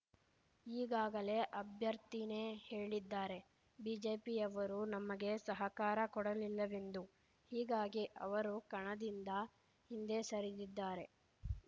ಈಗಾಗಲೇ ಅಭ್ಯರ್ಥಿನೇ ಹೇಳಿದ್ದಾರೆ ಬಿಜೆಪಿಯವರು ನಮಗೆ ಸಹಕಾರ ಕೊಡಲಿಲ್ಲವೆಂದು ಹೀಗಾಗಿ ಅವರು ಕಣದಿಂದ ಹಿಂದೆ ಸರಿದಿದ್ದಾರೆ